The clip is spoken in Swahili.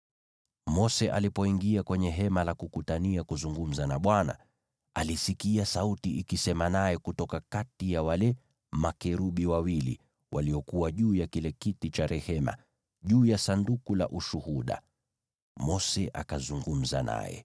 Mose alipoingia kwenye Hema la Kukutania kuzungumza na Bwana , alisikia sauti ikisema naye kutoka kati ya wale makerubi wawili waliokuwa juu ya kile kiti cha rehema, juu ya Sanduku la Ushuhuda. Mose akazungumza naye.